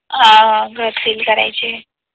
हा घर सील करायचे